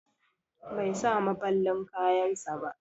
Bai sa maballin kayan sa ba.